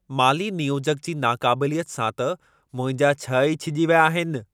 माली नियोजक जी नाक़ाबिलियत सां त मुंहिंजा छह ई छिॼी विया आहिनि।